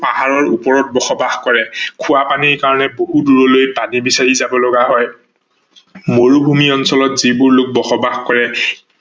পাহাৰৰ ওপৰত বসবাস কৰে, খোৱা পানীৰ বাবে বহুত দূৰলৈ পানী বিচাৰি যাব লগা হয়, মৰুভূমি অঞ্চলত যিবোৰ লোক বসবাস কৰে